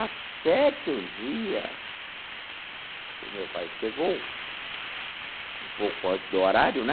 Até que um dia o meu pai chegou, um pouco antes do horário, né?